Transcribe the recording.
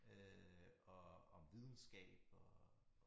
Øh og om videnskab og